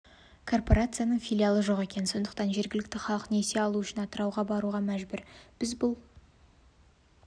корпорацияның филиалы жоқ екен сондықтан жергілікті халық несие алу үшін атырауға баруға мәжбүр біз бұл